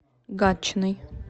гатчиной